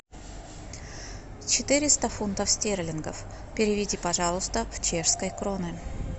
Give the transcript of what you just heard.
четыреста фунтов стерлингов переведи пожалуйста в чешской кроны